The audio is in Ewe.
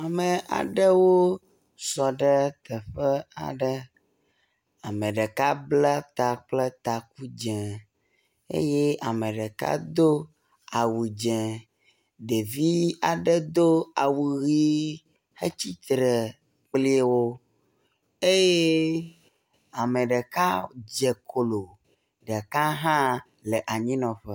Ame aɖewo sɔ ɖe teƒe aɖe, ame ɖeka ble ta kple taku dze eye ame ɖeka do awu dze. Ɖevi aɖe do awu ʋɛ̃, etsitre kpli wo eye ame ɖeka dze klo, ɖeka hã le anyinɔƒe.